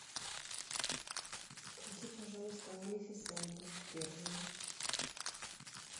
включи пожалуйста малефисенту первую